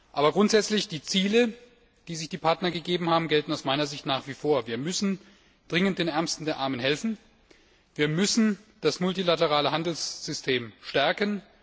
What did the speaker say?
Aber grundsätzlich gelten die Ziele, die sich die Partner gegeben haben, aus meiner Sicht nach wie vor Wir müssen dringend den Ärmsten der Armen helfen, und wir müssen das multilaterale Handelssystem stärken.